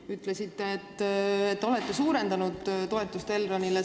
Te ütlesite, et olete suurendanud toetust Elronile.